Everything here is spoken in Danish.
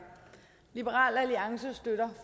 liberal alliance støtter